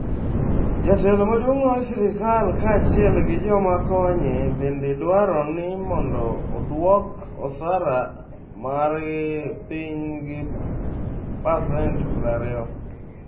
Jatelo maduong' mar sirkal kaachiel gi joma konye bende dwaro ni mondo odwok osara margi piny gi pasent 20.